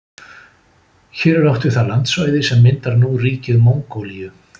Hér er átt við það landsvæði sem myndar nú ríkið Mongólíu.